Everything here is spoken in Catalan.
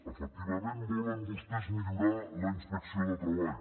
efectivament volen vostès millorar la inspecció de treball